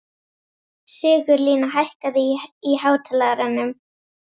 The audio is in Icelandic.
Sigurlína, hækkaðu í hátalaranum.